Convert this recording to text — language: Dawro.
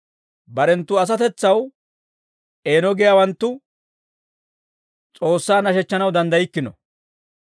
Barenttu asatetsaw eeno giyaawanttu S'oossaa nashechchanaw danddaykkino.